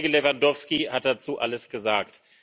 Kollege Lewandowski hat dazu alles gesagt.